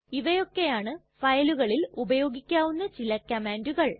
ഇവയൊക്കെയാണ് ഫയലുകളിൽ ഉപയോഗിക്കാവുന്ന ചില കംമാണ്ടുകൾ